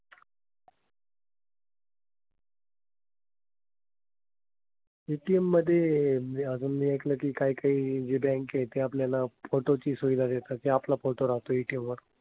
ATM मधे म्हणजे अजून मी ऐकलं की काही काही ज्या bank आहेत त्या आपल्याला photo ची सुविधा देतात. ते आपला photo लावतो ATM वर.